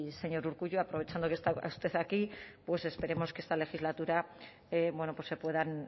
señor urkullu aprovechando que está usted aquí pues esperemos que esta legislatura bueno pues se puedan